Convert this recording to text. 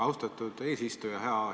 Austatud eesistuja!